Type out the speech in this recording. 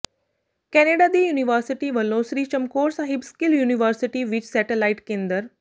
Canada ਦੀ university ਵਲੋਂ Sri Chamkaur Sahib skill university ਵਿਚ ਸੈਟਾਲਾਈਟ ਕੇਂਦਰ